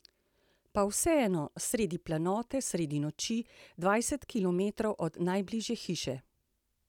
Pa vseeno, sredi planote, sredi noči, dvajset kilometrov od najbližje hiše.